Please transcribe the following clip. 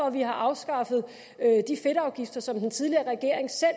at vi har afskaffet de fedtafgifter som den tidligere regering selv